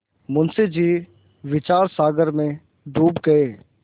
मुंशी जी विचारसागर में डूब गये